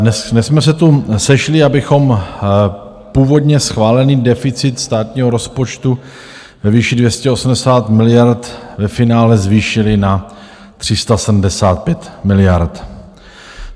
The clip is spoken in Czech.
Dnes jsme se tu sešli, abychom původně schválený deficit státního rozpočtu ve výši 280 miliard ve finále zvýšili na 375 miliard.